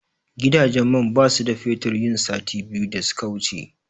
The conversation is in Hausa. Gidajen man basu da fetur yin sati biyu da suka wuce.